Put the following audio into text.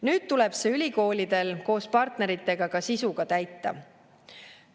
Nüüd tuleb see ülikoolidel koos partneritega ka sisuga täita.